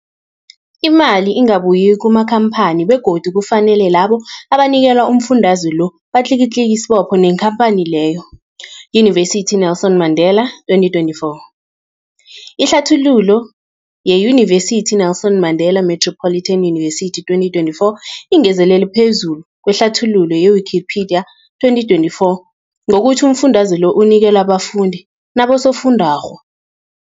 Imali ingabuyi kumakhamphani begodu kufanele labo abanikelwa umfundaze lo batlikitliki isibopho neenkhamphani leyo, Yunivesity i-Nelson Mandela 2024. Ihlathululo yeYunivesithi i-Nelson Mandela Metropolitan University, 2024, ingezelele phezu kwehlathululo ye-Wikipedia, 2024, ngokuthi umfundaze lo unikelwa abafundi nabosofundwakgho.